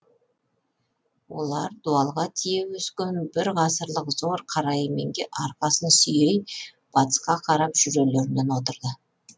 олар дуалға тие өскен бір ғасырлық зор қара еменге арқасын сүйей батысқа қарап жүрелерінен отырды